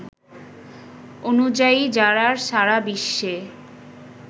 অনুযায়ী জারার সারা বিশ্বে